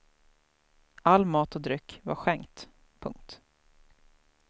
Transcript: All mat och dryck var skänkt. punkt